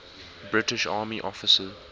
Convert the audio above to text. british army officer